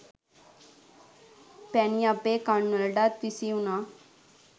පැණි අපේ කන් වලටත් විසි වුණා